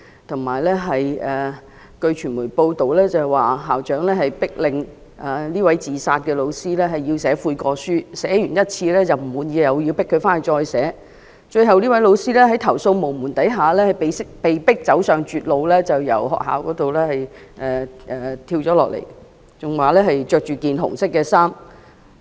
同時，據傳媒報道，校長迫令這位後來自殺的教師寫悔過書，她已寫了一次，但校長不滿意，並強迫她回去再寫，最後這位教師在投訴無門下，被迫走上絕路，從學校大樓跳下來，報道更指她當時身穿紅衣。